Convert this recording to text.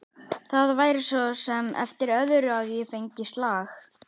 Það væri svo sem eftir öðru að ég fengi slag.